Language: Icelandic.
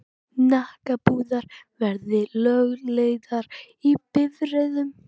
Hnakkapúðar verði lögleiddir í bifreiðum.